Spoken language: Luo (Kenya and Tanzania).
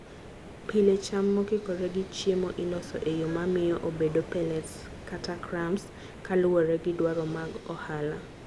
Pile, cham mokikore gi chiemno iloso e yo mamiyo obedo pellets kata crumbs kaluwore gi dwaro mag ohala.